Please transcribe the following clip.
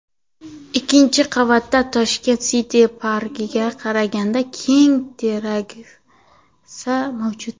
Ikkinchi qavatda Tashkent City parkiga qaragan keng terrasa mavjud.